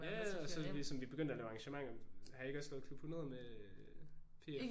Ja ja og sådan og vi sådan vi begyndte at lave arrangementer. Har I ikke også lavet klub 100 med PF?